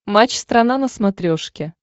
матч страна на смотрешке